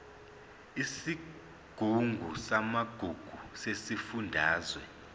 isigungu samagugu sesifundazwe